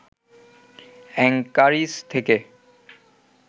Anchorage থেকে